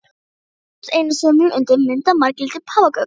Við settumst, einsömul undir mynd af marglitum páfagaukum.